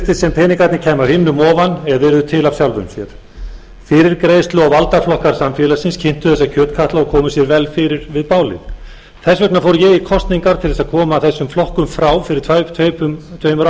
peningarnir kæmu af himnum ofan eða yrðu til af sjálfu sér fyrirgreiðslu og valdaflokkar samfélagsins kyntu þessa kjötkatla og komu sér vel fyrir við bálið þess vegna fór ég í kosningar til að koma þessum flokkum frá fyrir tveimur